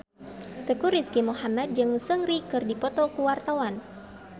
Teuku Rizky Muhammad jeung Seungri keur dipoto ku wartawan